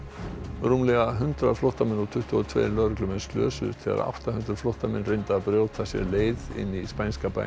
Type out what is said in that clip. rúmlega hundrað flóttamenn og tuttugu og tveir lögreglumenn slösuðust þegar átta hundruð flóttamenn reyndu að brjóta sér leið inn í spænska bæinn